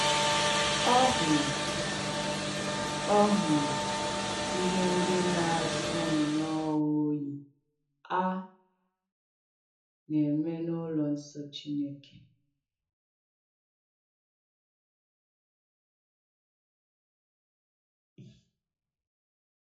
Ọ hùrù Ọ hùrù ihè ndí na-àsọ̀ nnọ̀ọ̀ oyì a na-eme n’ùlọ̀ ǹsọ̀ Chìnèkè.